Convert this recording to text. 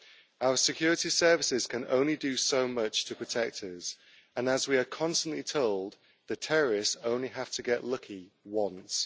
Our security services can only do so much to protect us, and as we are constantly told, the terrorists only have to get lucky once.